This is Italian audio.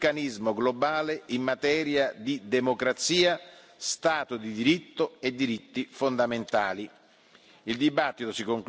sulla necessità di un meccanismo globale in materia di democrazia, Stato di diritto e diritti fondamentali.